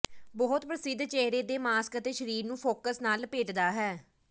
ਬਹੁਤ ਪ੍ਰਸਿੱਧ ਚਿਹਰੇ ਦੇ ਮਾਸਕ ਅਤੇ ਸਰੀਰ ਨੂੰ ਫੁਕਸ ਨਾਲ ਲਪੇਟਦਾ ਹੈ